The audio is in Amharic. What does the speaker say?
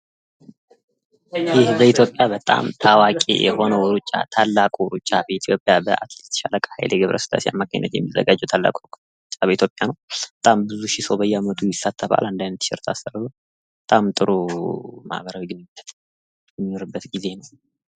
ይህ በኢትዮጵያ በጣም ታዋቂ የሆነው ሩጫ ታላቁ ሩጫ በኢትዮጵያ በሻለቃ ሀይሌ ገብረስላሴ አማካኝነት የሚዘጋጀው ታላቁ ሩጫ በኢትዮጵያ ነው። በጣም ብዙሺ ሰው በየዓመቱ ይሳተፋል ።አንድ አይነት ቲሸርት አሰርቶ። በጣም ጥሩ ማህበራዊ ግንኙነት የሚኖርበት ጊዜ ነው።